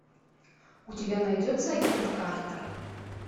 у тебя найдется агент картер